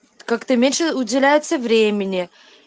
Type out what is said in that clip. как-то меньше уделяется времени